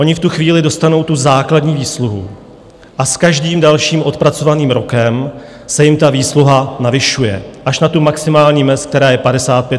Oni v tu chvíli dostanou tu základní výsluhu a s každým dalším odpracovaným rokem se jim ta výsluha navyšuje až na maximální mez, která je 55 % jejich mzdy.